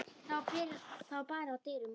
Það var barið að dyrum og